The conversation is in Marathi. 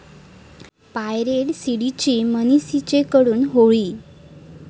पायरेटेड सीडींची 'मनचिसे'कडून होळी